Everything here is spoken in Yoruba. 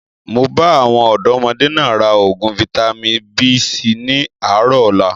Máa bá àwọn ọ̀dọ́modé náà raa oògùn Vitamin B síí ni àárọ̀ ọ̀la